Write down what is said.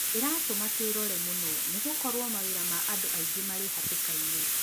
Ĩratũma twĩrore mũno nĩgũkorũo mawĩra ma andũ aing ĩ marĩ hatĩka-inĩ